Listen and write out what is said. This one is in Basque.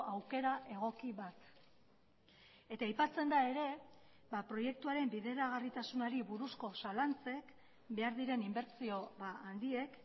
aukera egoki bat eta aipatzen da ere proiektuaren bideragarritasunari buruzko zalantzek behar diren inbertsio handiek